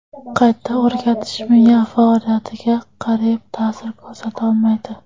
Qayta o‘rgatish miya faoliyatiga qariyb ta’sir ko‘rsata olmaydi.